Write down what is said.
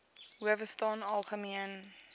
howe staan algemeen